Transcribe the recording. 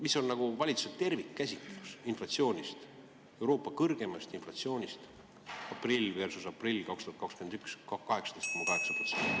Mis on valitsuse tervikkäsitlus inflatsioonist, Euroopa kõrgeimast inflatsioonist: aprill versus aprill 2021 – 18,8%?